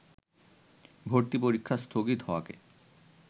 ভর্তি পরীক্ষা স্থগিত হওয়াকে